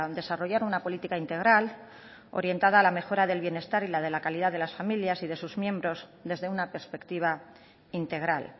desarrollar una política integral orientada a la mejora del bienestar y la de la calidad de las familias y de sus miembros desde una perspectiva integral